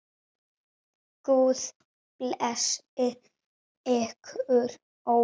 Guð blessi ykkur öll.